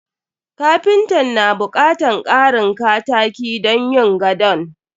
Kapintan na bukatan karin kataki don yin gadon.